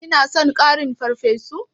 Kina son ƙarin farfesu?